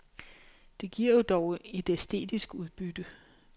Det giver jo dog et æstetisk udbytte.